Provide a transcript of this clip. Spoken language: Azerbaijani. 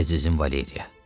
Əzizim Valeriya.